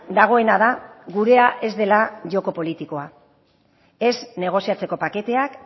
dagoena da gurea ez dela joko politikoa ez negoziatzeko paketeak